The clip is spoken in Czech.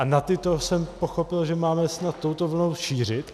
A na tyto jsem pochopil, že máme snad touto vlnou mířit.